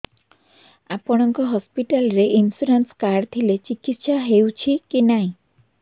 ଆପଣଙ୍କ ହସ୍ପିଟାଲ ରେ insurance card ଥିଲେ ଚିକିତ୍ସା ହେଉଛି କି ନାଇଁ